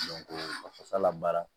ka fasa labaara